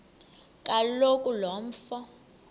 kaloku lo mfo